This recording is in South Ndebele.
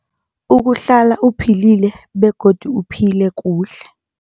Ukuhlala uphilile begodu uphile kuhle.